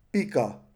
Pika.